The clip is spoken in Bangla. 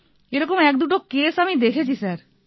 এরকম এক দুটো কেস আমি দেখেছি স্যার